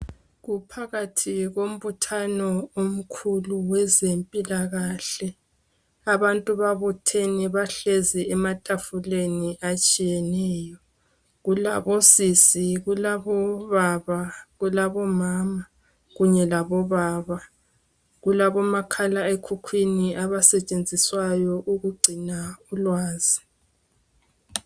kuphakathi kombuthano omkhulu wezempilakahle abantu babuthene bahlezi ematafuleni atshiyeneyo kulabo sisi kulabo mama kanye labo baba kulabo makhala ekhukhwini abasetshenziswayo ukugcinywa ulwazi